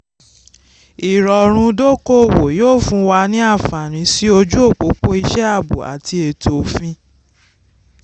ìrọ̀rùn dókòwó yóò fún wa ní àǹfààní sí ojú òpópó iṣẹ́ àbò àti ètò òfin.